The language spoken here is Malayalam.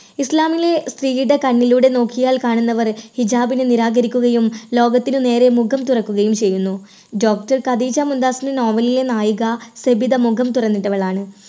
ഇസ്ലാമിലെ സ്ത്രീയുടെ കണ്ണിലൂടെ നോക്കിയാൽ കാണുന്നവർ ഹിജാബിനെ നിരാകരിക്കുകയും ലോകത്തിന് നേരെ മുഖം തുറക്കുകയും ചെയ്യുന്നു. doctor ഖദീജ മുംതാസിന്റെ novel ലിലെ നായിക സബിത മുഖം തുറന്നിട്ടവളാണ്.